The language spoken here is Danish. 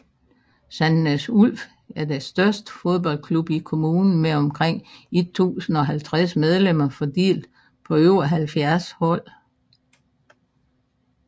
Sandnes Ulf er den største fodboldklub i kommunen med omkring 1050 medlemmer fordelt på over 70 hold